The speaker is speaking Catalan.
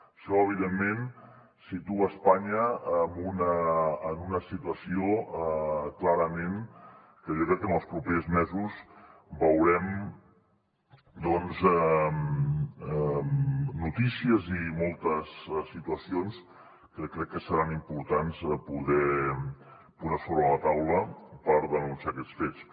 això evidentment situa espanya en una situació clarament que jo crec que en els propers mesos veurem doncs notícies i moltes situacions que crec que seran importants poder posar sobre la taula per denunciar aquests fets